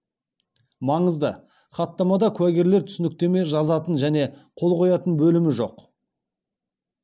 маңызды хаттамада куәгерлер түсініктеме жазатын және қол қоятын бөлімі жоқ